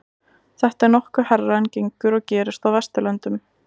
þetta er nokkuð hærra en gengur og gerist á vesturlöndum